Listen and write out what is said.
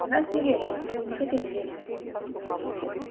в нас не верили не хотели верить